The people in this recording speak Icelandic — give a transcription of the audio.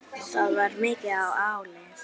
Það var mikið í ánni.